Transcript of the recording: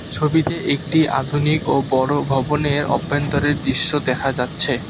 ছবিতে একটি আধুনিক ও বড় ভবনের অভ্যেন্তরের দিশ্য দেখা যাচ্ছে।